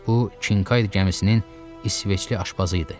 Bu Kinkayd gəmisinin İsveçli aşpazı idi.